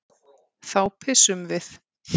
Þá pissum við.